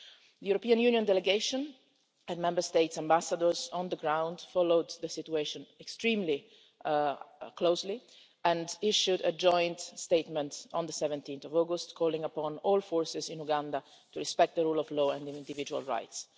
The European Union delegation and Member Statesʼ ambassadors on the ground followed the situation extremely closely and issued a joint statement on 17 August, calling upon all forces in Uganda to respect the rule of law and individual rights.